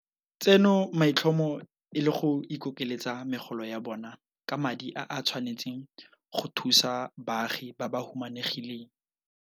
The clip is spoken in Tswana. tseno maitlhomo e le go ikokeletsa megolo ya bona ka madi a a tshwanetseng go thusa baagi ba ba humanegileng.